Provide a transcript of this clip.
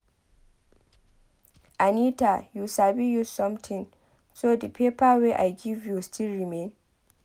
Anita you sabi use something so the paper wey I give you still remain?